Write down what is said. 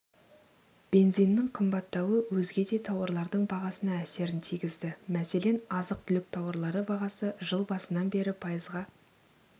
бензиннің қымбаттауы өзге де тауарлардың бағасына әсерін тигізді мәселен азық-түлік тауарлары бағасы жыл басынан бері пайызға